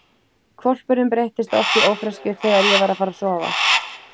Hvolpurinn breyttist oft í ófreskju þegar ég var að fara að sofa.